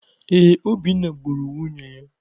Ee, Obinna gburu nwunye ya.